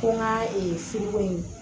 Ko n ka firiko in